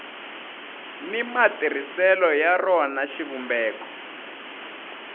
ni matirhiselo ya rona xivumbeko